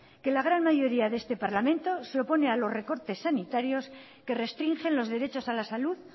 que la gran mayoría de este parlamento se opone a los recortes sanitarios que restringen los derechos a la salud